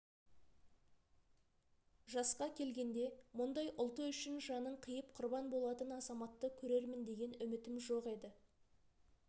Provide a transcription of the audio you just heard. жасқа келгенде мұндай ұлты үшін жанын қиып құрбан болатын азаматты көрермін деген үмітім жоқ еді